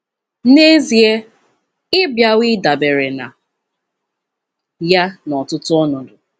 N'ezie, ị bịawo ịdabere na ya n'ọtụtụ ọnọdụ.